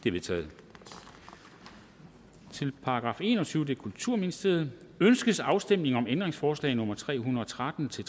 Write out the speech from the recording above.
er vedtaget til § enogtyvende kulturministeriet ønskes afstemning om ændringsforslag nummer tre hundrede og tretten til